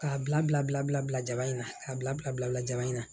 K'a bila bila bila bila jaba in na k'a bila bila bila jama in na